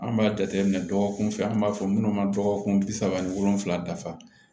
An b'a jateminɛ dɔgɔkun fila an b'a fɔ minnu ma dɔgɔkun bi saba ni wolonfila dafa